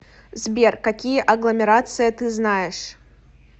сбер какие агломерация ты знаешь